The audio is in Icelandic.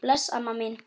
Bless amma mín.